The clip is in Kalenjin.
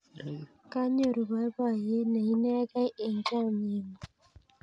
Kanyoru poipoiyet ne inekey eng' chomye ng'ung'.